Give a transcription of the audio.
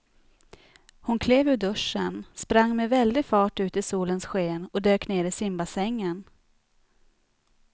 Hon klev ur duschen, sprang med väldig fart ut i solens sken och dök ner i simbassängen.